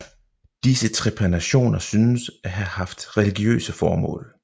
Disse trepanationer synes at have haft religiøse formål